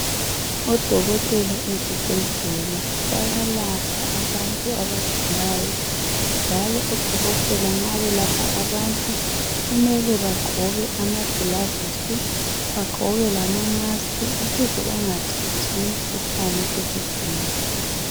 Odokotela ezibhedlela bayalapha abantu abagulayo njalo odokotela nxa belapha abantu kumele bagqoke amagilavusi bagqoke lama- mask ukuze bengathathi imikhuhlane kuzigulane.